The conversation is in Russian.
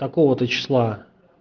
такого-то числа